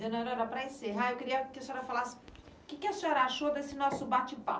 Dona Aurora, para encerrar, eu queria que a senhora falasse o que a senhora achou desse nosso bate-papo.